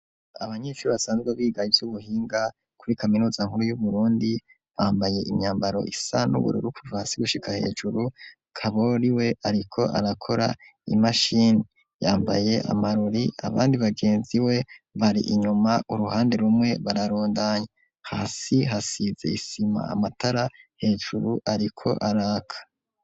Abanyeshure basanzwe biga ivy'ubuhinga, kuri kaminuza nkuru yu Burundi, bambaye imyambaro isa n'ubururu kuva hasi gushika hejuru, Kabori we ariko arakora imashini, yambaye amarori, abandi bagenzi we bari inyuma uruhande rumwe bararundanye, hasi hasize isima, amatara hejuru ariko araka.